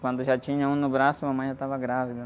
Quando já tinha um no braço, a mamãe já estava grávida.